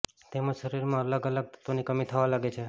તેમજ શરીરમાં અલગ અલગ તત્વોની કમી થવા લાગે છે